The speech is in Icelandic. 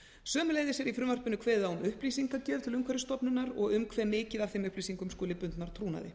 sömuleiðis er í frumvarpinu kveðið á um upplýsingagjöf til umhverfisstofnunar og um hve mikið af þeim upplýsingum skuli bundnar trúnaði